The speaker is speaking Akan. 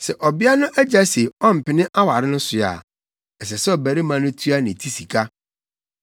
Sɛ ɔbea no agya se ɔmpene aware no so a, ɛsɛ sɛ ɔbarima no tua ne ti sika.